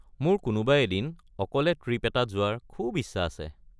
মোৰ কোনোবা এদিন অকলে ট্ৰিপ এটাত যোৱাৰ খুব ইচ্ছা আছে।